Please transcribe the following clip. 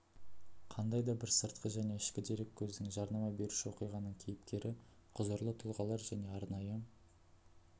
қандай да бір сыртқы және ішкі дереккөздің жарнама беруші оқиғаның кейіпкері құзырлы тұлғалар және арнайы